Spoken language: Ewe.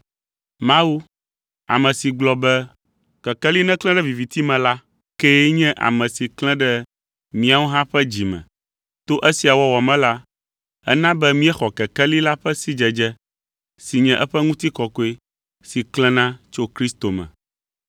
Mawu ame si gblɔ be, “Kekeli neklẽ ɖe viviti me la,” kee nye ame si klẽ ɖe míawo hã ƒe dzi me. To esia wɔwɔ me la, ena be míexɔ kekeli la ƒe sidzedze, si nye eƒe ŋutikɔkɔe si klẽna tso Kristo me.